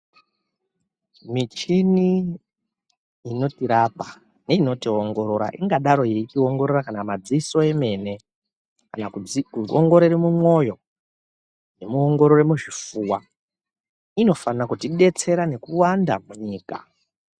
Michini inotirapa neinotiongorora ingadayi yeitiongorora kana madziso emene kana kuongororo mumwoyo nekuongorore muzvifuwa inofane kutidetsera nekuwanda munyika.